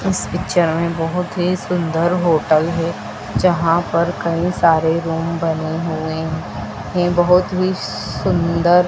इस पिक्चर में बहोत ही सुंदर होटल है जहां पर कई सारे रूम बने हुए हैं बहोत ही सुंदर--